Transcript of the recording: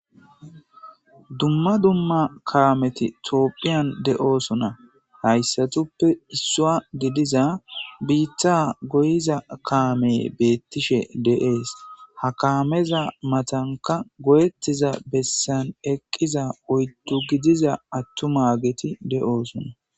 dumma dumma kaameti tooopphiyan de7oosona hayssatuppe issua gidiza biitha goyiza kaameye beettishe deees ha kaameza matanka goyettiza bessan eqqiza oyddu gidiza attuma geti de7oosona